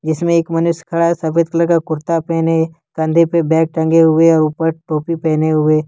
इसमें एक मनुष्य खड़ा है सफेद कलर का कुर्ता पहने कंधे पर बैग टंगे हुए और ऊपर टोपी पहने हुए--